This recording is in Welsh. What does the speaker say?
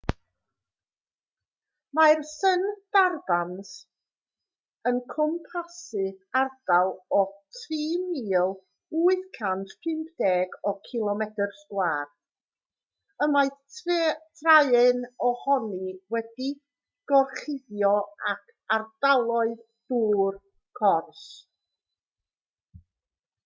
mae'r sundarbans yn cwmpasu ardal o 3,850 cilomedr sgwâr y mae traean ohoni wedi'i gorchuddio ag ardaloedd dŵr/cors